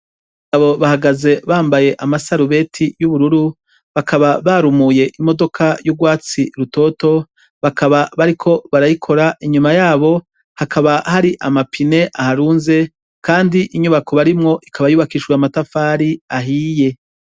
Bagabo bahagaze bambaye amasarubeti y'ubururu bakaba barumuye imodoka y'urwatsi rutoto bakaba bariko barayikora inyuma yabo hakaba hari amapine aharunze, kandi inyubako barimwo ikaba yubakishijwe amatafari ahiye.